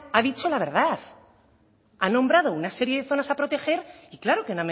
ha dicho la verdad ha nombrado una serie de zonas a proteger y claro que